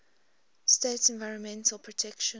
states environmental protection